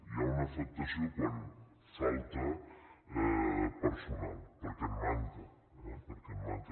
hi ha una afectació quan falta personal perquè en manca perquè en manca